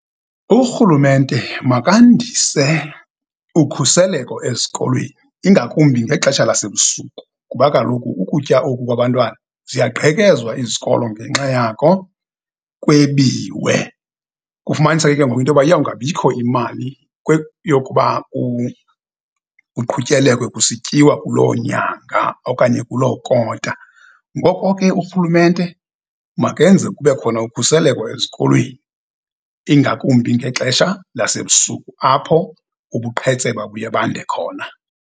Urhulumente makandise ukhuseleko ezikolweni, ingakumbi ngexesha lasebusuku, kuba kaloku ukutya oku kwabantwana ziyaqhekezwa izikolo ngenxa yako kwebiwe. Kufumaniseke ke ngoku into yoba iyawungabikho imali yokuba kuqhutyelekwe kusityiwa kuloo nyanga okanye kuloo kota. Ngoko ke urhulumente makenze kube khona ukhuseleko ezikolweni, ingakumbi ngexesha lasebusuku apho ubuqhetseba buye bande khona.